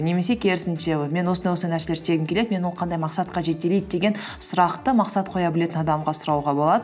немесе керісінше мен осындай осындай нәрселер істегім келеді мені ол қандай мақсатқа жетелейді деген сұрақты мақсат қоя білетін адамға сұрауға болады